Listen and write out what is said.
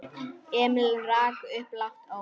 Emil rak upp lágt óp.